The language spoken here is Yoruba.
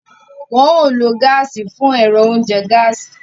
Wọn ò ló gaasi fún ẹrọ oúnjẹ gaasi